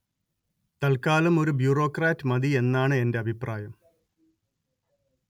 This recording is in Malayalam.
തല്‍ക്കാലം ഒരു ബ്യൂറോക്രാറ്റ് മതി എന്നാണ് എന്റെ അഭിപ്രായം